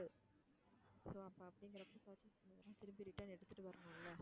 so அப்படிங்குறப்போ purchase பண்ண திருப்பி return எடுத்துட்டு வரணும் இல்ல.